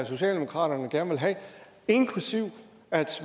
socialdemokratiet gerne vil have inklusive at